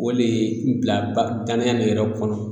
O le bila ba danaya nin yɛrɛ kɔnɔ